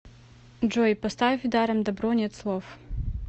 джой поставь даром добро нет слов